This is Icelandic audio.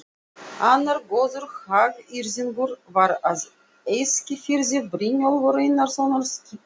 Annar góður hagyrðingur var á Eskifirði, Brynjólfur Einarsson skipasmiður.